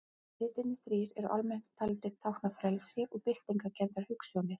Litirnir þrír eru almennt taldir tákna frelsi og byltingarkenndar hugsjónir.